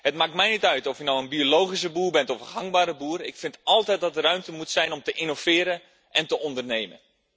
Het maakt mij niet uit of je nou een biologische boer bent of een gangbare boer, ik vind altijd dat er ruimte moet zijn om te innoveren en te ondernemen.